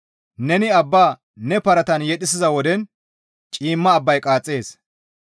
Neni abba ne paratan yedhisiza woden ciimma abbay qaaxxees.